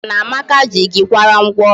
I mara na Amaka ji gị kwara ngwọ ọrụ?